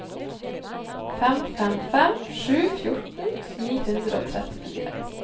fem fem fem sju fjorten ni hundre og trettifire